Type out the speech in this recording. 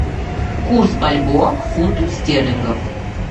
курс бальбоа к фунту стерлингов